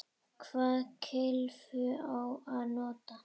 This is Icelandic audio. Hvaða kylfu á að nota?